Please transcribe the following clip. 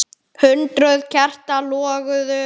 Hundruð kerta loguðu.